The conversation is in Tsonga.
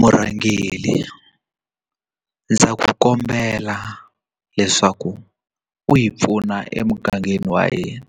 Murhangeri ndza ku kombela leswaku u hi pfuna emugangeni wa hina